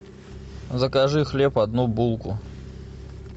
закажи хлеб одну булку